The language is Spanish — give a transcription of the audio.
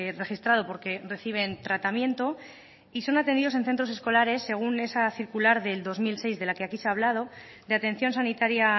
registrado porque reciben tratamiento y son atendidos en centros escolares según esa circular del dos mil seis de la que aquí se ha hablado de atención sanitaria